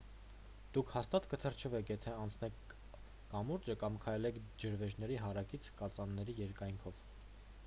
դուք հաստատ կթրջվեք եթե անցնեք կամուրջը կամ քայլեք ջրվեժների հարակից կածանների երկայնքով